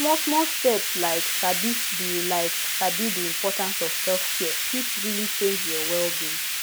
smallsmall steps like sabi the like sabi the importance of selfcare fit really change your wellbeing